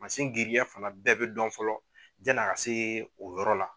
Mansin girinya fana bɛɛ bɛ dɔn fɔlɔ yanni a ka se o yɔrɔ la.